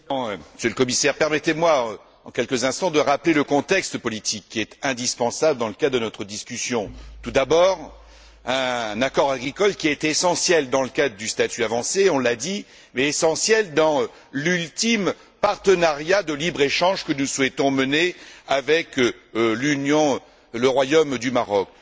Monsieur le Président, Monsieur le Commissaire, permettez moi, en quelques instants, de rappeler le contexte politique qui est indispensable dans le cadre de notre discussion. Tout d'abord, c'est un accord agricole qui a été essentiel dans le cadre du statut avancé on l'a dit mais essentiel dans l'ultime partenariat de libre échange que nous souhaitons mener entre l'Union et le Royaume du Maroc.